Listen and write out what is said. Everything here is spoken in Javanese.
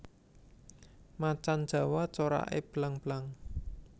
Macan jawa corake belang belang